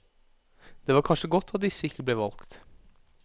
Det var kanskje godt at ikke disse ble valgt.